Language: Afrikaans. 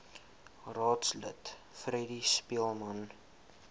raadslid freddie speelman